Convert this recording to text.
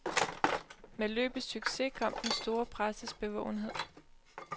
Med løbets succes kom den store presses bevågenhed.